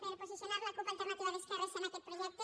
per posicionar la cup alternativa d’esquerres en aquest projecte